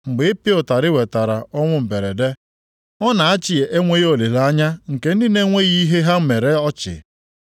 Mgbe ịpịa ụtarị wetara ọnwụ mberede, ọ na-achị enweghị olileanya nke ndị na-enweghị ihe ha mere ọchị.